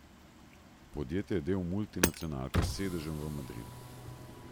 Podjetje je del multinacionalke s sedežem v Madridu.